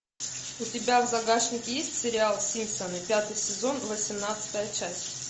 у тебя в загашнике есть сериал симпсоны пятый сезон восемнадцатая часть